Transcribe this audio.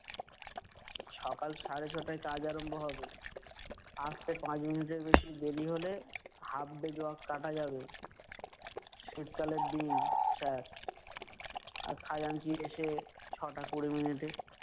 সকাল সাড়ে ছটায় কাজ আরম্ব হবে। আসতে পাঁচ মিনিটের বেশি দেরি হলে, half day job কাটা যাবে। শীত কালের দিন sir । আর খাজাঞ্চি এসে ছটা কুড়ি মিনিটে-